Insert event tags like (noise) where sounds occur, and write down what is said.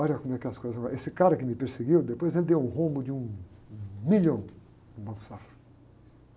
Olha como é que as coisas... (unintelligible) Esse cara que me perseguiu, depois ele deu um rombo de um, um milhão no Banco do Safra.